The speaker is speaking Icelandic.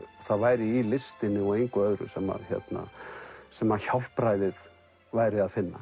væri í listinni og engu öðru sem sem að hjálpræðið væri að finna